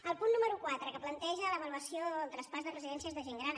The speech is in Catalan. el punt número quatre que planteja l’avaluació del traspàs de residències de gent gran